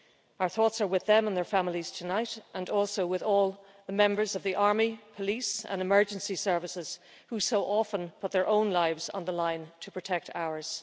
Our thoughts are with them and their families tonight and also with all the members of the army, police and emergency services who so often put their own lives on the line to protect ours.